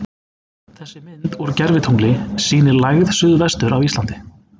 þessi mynd úr gervitungli sýnir lægð suðvestur af íslandi